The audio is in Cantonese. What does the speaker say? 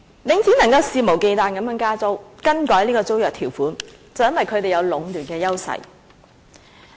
領展能夠肆無忌憚地加租，更改租約條款，便是因為它有壟斷的優勢。